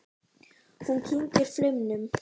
Hún kyngir flaumnum.